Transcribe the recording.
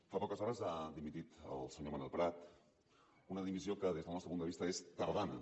fa poques hores ha dimitit el senyor manel prat una dimissió que des del nostre punt de vista és tardana